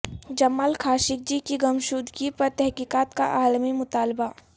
جمال Khashoggi کی گمشدگی پر تحقیقات کا عالمی مطالبہ